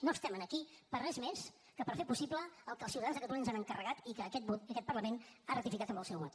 no estem aquí per a res més que per fer possible el que els ciutadans de catalunya ens han encarregat i que aquest parlament ha ratificat amb el seu vot